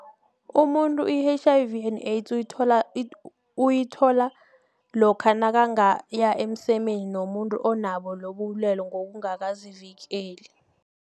Umuntu i-H_I_V and AIDS uyithola lokha nakangaya emsemeni nomuntu onabo lobubulwele ngokungakazivikeli.